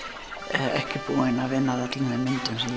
ekki búin að vinna að öllum þeim myndum sem